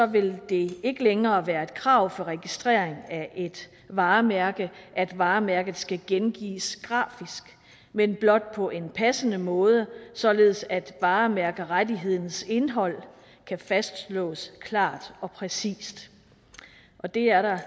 vil det ikke længere være et krav for registrering af et varemærke at varemærket skal gengives grafisk men blot på en passende måde således at varemærkerettighedens indhold kan fastslås klart og præcist og det er der